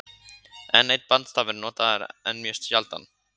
Enn einn bandstafur er notaður en mjög sjaldan.